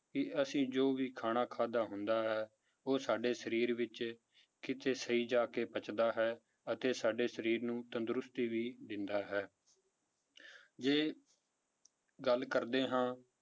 ਕਿ ਅਸੀਂ ਜੋ ਵੀ ਖਾਣਾ ਖਾਧਾ ਹੁੰਦਾ ਹੈ ਉਹ ਸਾਡੇ ਸਰੀਰ ਵਿੱਚ ਕਿਤੇ ਸਹੀ ਜਾ ਕੇ ਪੱਚਦਾ ਹੈ ਅਤੇ ਸਾਡੇ ਸਰੀਰ ਨੂੰ ਤੰਦਰੁਸਤੀ ਵੀ ਦਿੰਦਾ ਹੈ ਜੇ ਗੱਲ ਕਰਦੇ ਹਾਂ